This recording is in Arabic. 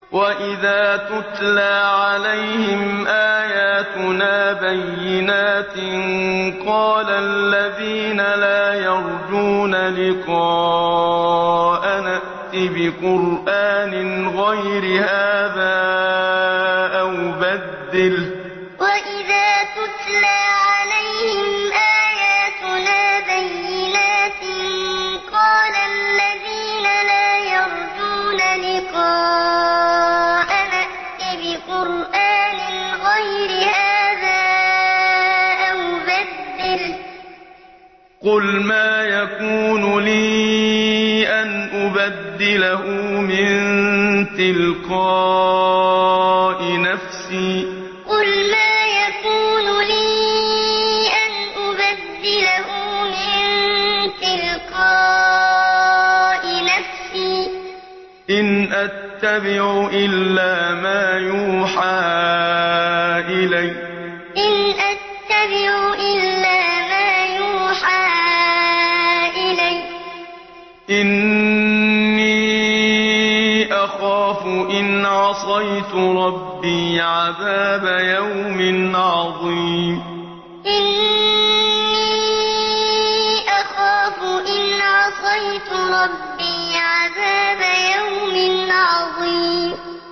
وَإِذَا تُتْلَىٰ عَلَيْهِمْ آيَاتُنَا بَيِّنَاتٍ ۙ قَالَ الَّذِينَ لَا يَرْجُونَ لِقَاءَنَا ائْتِ بِقُرْآنٍ غَيْرِ هَٰذَا أَوْ بَدِّلْهُ ۚ قُلْ مَا يَكُونُ لِي أَنْ أُبَدِّلَهُ مِن تِلْقَاءِ نَفْسِي ۖ إِنْ أَتَّبِعُ إِلَّا مَا يُوحَىٰ إِلَيَّ ۖ إِنِّي أَخَافُ إِنْ عَصَيْتُ رَبِّي عَذَابَ يَوْمٍ عَظِيمٍ وَإِذَا تُتْلَىٰ عَلَيْهِمْ آيَاتُنَا بَيِّنَاتٍ ۙ قَالَ الَّذِينَ لَا يَرْجُونَ لِقَاءَنَا ائْتِ بِقُرْآنٍ غَيْرِ هَٰذَا أَوْ بَدِّلْهُ ۚ قُلْ مَا يَكُونُ لِي أَنْ أُبَدِّلَهُ مِن تِلْقَاءِ نَفْسِي ۖ إِنْ أَتَّبِعُ إِلَّا مَا يُوحَىٰ إِلَيَّ ۖ إِنِّي أَخَافُ إِنْ عَصَيْتُ رَبِّي عَذَابَ يَوْمٍ عَظِيمٍ